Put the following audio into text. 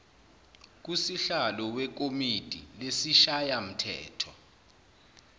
kusihlalo wekomidi lesishayamthetho